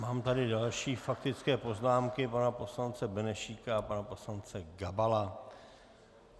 Mám tady další faktické poznámky, pana poslance Benešíka a pana poslance Gabala.